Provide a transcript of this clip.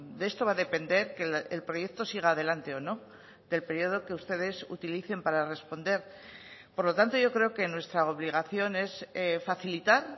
de esto va a depender que el proyecto siga adelante o no del periodo que ustedes utilicen para responder por lo tanto yo creo que nuestra obligación es facilitar